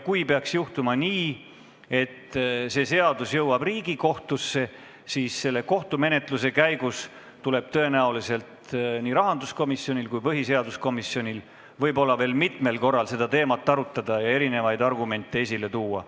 Kui peaks juhtuma nii, et seadus jõuab Riigikohtusse, siis sealse kohtumenetluse käigus tuleb tõenäoliselt nii rahanduskomisjonil kui ka põhiseaduskomisjonil võib-olla veel mitmel korral seda teemat arutada ja erinevaid argumente esile tuua.